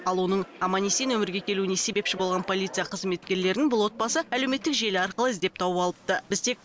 ал оның аман есен өмірге келуіне себепші болған полиция қызметкерлерін бұл отбасы әлеуметтік желі арқылы іздеп тауып алыпты